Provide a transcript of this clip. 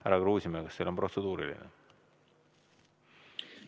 Härra Kruusimäe, kas teil on protseduuriline küsimus?